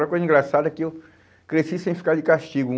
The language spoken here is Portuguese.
Uma coisa engraçada é que eu cresci sem ficar de castigo.